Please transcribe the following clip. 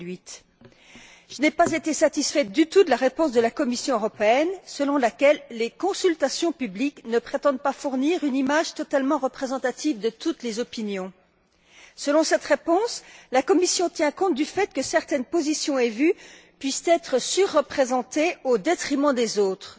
2008. Je n'ai pas été satisfaite du tout de la réponse de la Commission européenne selon laquelle les consultations publiques ne prétendent pas fournir une image totalement représentative de toutes les opinions. Selon cette réponse, la Commission tient compte du fait que certaines positions et vues puissent être surreprésentées au détriment des autres.